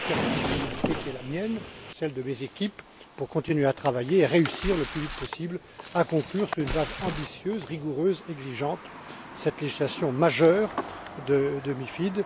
Je lui confirme la disponibilité qui est la mienne, celle de mes équipes, pour continuer à travailler et réussir le plus vite possible à conclure, sur une base ambitieuse, rigoureuse, exigeante, cette législation majeure de la directive MiFID.